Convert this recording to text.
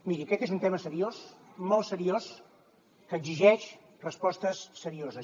miri aquest és un tema seriós molt seriós que exigeix respostes serioses